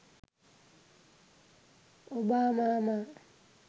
ඔබාමාමා